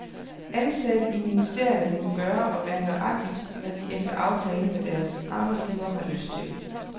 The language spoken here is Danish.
Ansatte i ministerierne må gøre og være nøjagtigt, hvad de efter aftale med deres arbejdsgiver har lyst til.